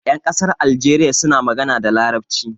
Ƴan ƙasar algeriya suna magana da Larabci.